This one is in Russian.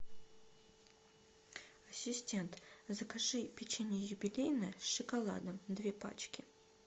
ассистент закажи печенье юбилейное с шоколадом две пачки